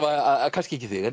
kannski ekki þig